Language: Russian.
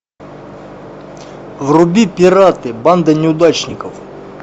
вруби пираты банда неудачников